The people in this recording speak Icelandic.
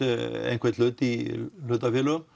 einhvern hlut í hlutafélögum